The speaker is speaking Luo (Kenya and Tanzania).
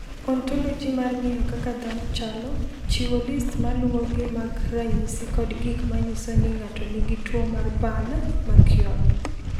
"Ontoloji mar ng’eyo kaka dhano chalo, chiwo list ma luwogi mag ranyisi kod gik ma nyiso ni ng’ato nigi tuwo mar Burn Mckeown."